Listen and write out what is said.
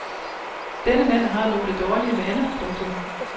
Denne mand har nogle dårlig vaner. punktum